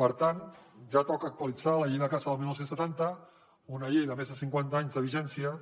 per tant ja toca actualitzar la llei de caça del dinou setanta una llei de més de cinquanta anys de vigència